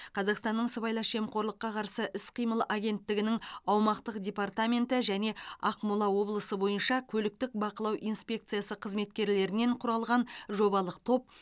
қазақстанның сыбайлас жемқорлыққа қарсы іс қимыл агенттігінің аумақтық департаменті және ақмола облысы бойынша көліктік бақылау инспекциясы қызметкерлерінен құралған жобалық топ